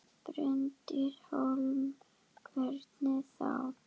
Bryndís Hólm: Hvernig þá?